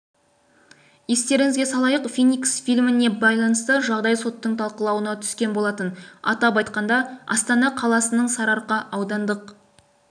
естеріңізге салайық феникс фильміне байланысты жағдай соттың талқылауына түскен болатын атап айтқанда астана қаласының сарыарқа аудандық